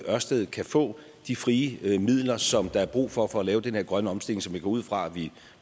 ørsted kan få de frie midler som der er brug for for at lave den her grønne omstilling som jeg går ud fra at vi